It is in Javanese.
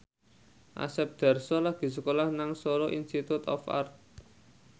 Asep Darso lagi sekolah nang Solo Institute of Art